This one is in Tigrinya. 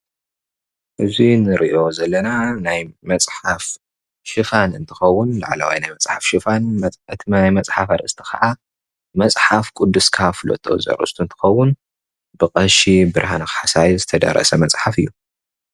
እዚ ምስሊ ሽፋን መፅሓፍ ኮይኑ መፅሓፍ ቅዱስካ ፍለጦ ዝብል ስያሜ ዘለዎ ኮይኑ ብ ቀሺ ብርሃነ ካሕሳይ ዝተደረሰ እዩ።